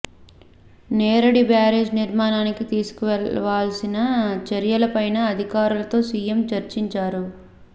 నేరడి బ్యారేజీ నిర్మాణానికి తీసుకోవాల్సిన చర్యలపైనా అధికారులతో సీఎం చర్చిం చారు